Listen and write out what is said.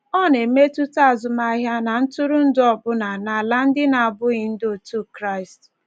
Ọ na-emetụta azụmahịa na ntụrụndụ, ọbụna n’ala ndị na-abụghị ndị otu Kraịst.